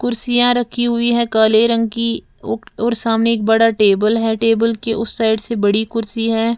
कुर्सियां रखी हुई है काले रंग की औ और सामने एक बड़ा टेबल है टेबल के उस साइड से बड़ी कुर्सी है।